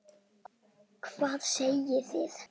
Hvað segið þið?